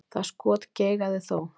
Það skot geigaði þó.